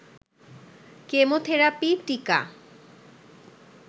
chemotherapy, টিকা